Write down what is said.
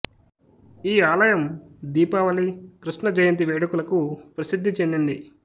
ఈ ఆలయం దీపావళి కృష్ణ జయంతి వేడుకలకు ప్రసిద్ధి చెందింది